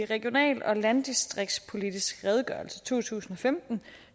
regional og landdistriktspolitisk redegørelse to tusind og femten